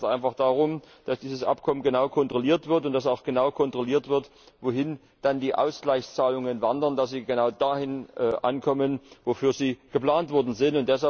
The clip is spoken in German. Ich bitte ganz einfach darum, dass dieses Abkommen genau kontrolliert wird und dass auch genau kontrolliert wird, wohin dann die Ausgleichzahlungen wandern, dass sie genau dort ankommen, wofür sie geplant worden sind.